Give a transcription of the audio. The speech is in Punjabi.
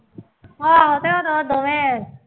ਹਾਂ ਅਤੇ ਉਹ ਨਾ ਦੋਵੇਂ